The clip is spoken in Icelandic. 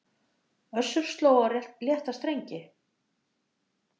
Össur sló á létta strengi